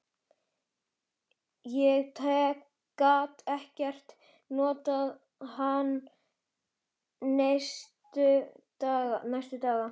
Ég gat ekkert notað hann næstu daga.